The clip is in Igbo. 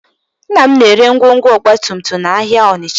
Nna m na-ere ngwongwo ọgbatumtum n'ahịa Ọnịcha